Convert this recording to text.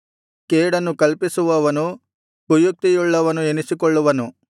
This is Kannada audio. ಕೇಡನ್ನು ಕಲ್ಪಿಸುವವನು ಕುಯುಕ್ತಿಯುಳ್ಳವನು ಎನಿಸಿಕೊಳ್ಳುವನು